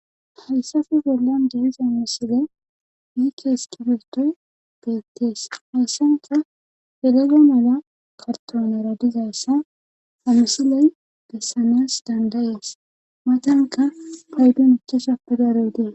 Hyassape bollan de7iza misiley biike iskkiribttoy beetes hayssa yelelo mala karttoonera dizayssa ha misiley bessanas danddayees wodankka aydon ichashape daroy des.